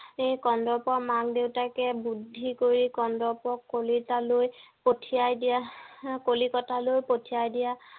এই কাণ্ডৰ পৰা মাক দেউতাকে বুদ্ধি কৰি কন্দৰ্প কলিতালৈ পঠিয়াই দিয়া কলিকতালৈ পঠিয়াই দিয়া